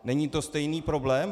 Není to stejný problém?